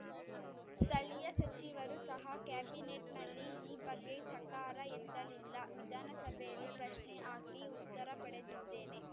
ಸ್ಥಳೀಯ ಸಚಿವರೂ ಸಹ ಕ್ಯಾಬಿನೇಟ್‌ನಲ್ಲಿ ಈ ಬಗ್ಗೆ ಚಕಾರ ಎತ್ತಲಿಲ್ಲ ವಿಧಾನಸಭೆಯಲ್ಲಿ ಪ್ರಶ್ನೆ ಹಾಕಿ ಉತ್ತರ ಪಡೆದಿದ್ದೇನೆ